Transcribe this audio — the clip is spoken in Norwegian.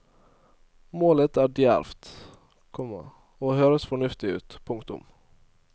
Målet er djervt, komma og høres fornuftig ut. punktum